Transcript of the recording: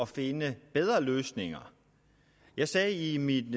finde bedre løsninger jeg sagde i min